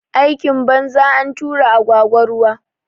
Aikin banza, antura agwagwa ruwa